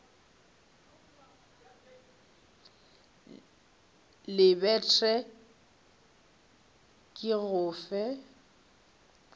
lebet re ke go fe